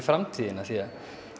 framtíðina því